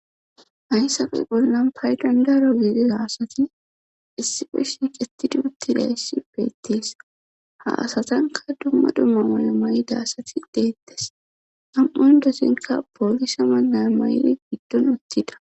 hayssafe bollan pay dandaro giidiza asati issi peshshi gettidi uttida yssi beettees ha asatanka dumma dumma mana may7ida asati deettes ham7on dossinka poolisa mannay may7di giddon uttida